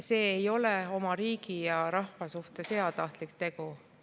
See ei ole oma riigi ja rahva suhtes heatahtlik tegu.